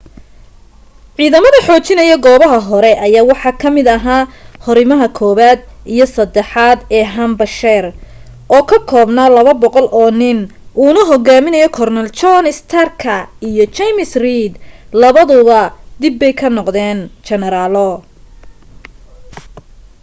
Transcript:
ciidamada xoojinaya goobaha hore ayaa waxa ka mid ahaa hurimaha 1aad iyo 3aad ee hampshire oo ka koobnaa 200 oo nin uuna hogaaminayo korneyl john starka iyo james reed labaduba dibbay ka noqdeen generaalo